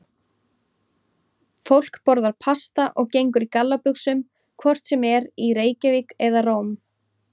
Fólk borðar pasta og gengur í gallabuxum hvort sem er í Reykjavík eða Róm.